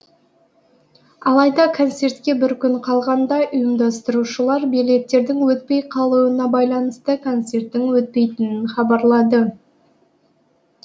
алайда концертке бір күн қалғанда ұйымдастырушылар билеттердің өтпей қалуына байланысты концерттің өтпейтінін хабарлады